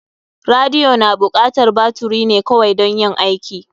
Radiyo na bukatar baturi ne kawai dan yin aiki.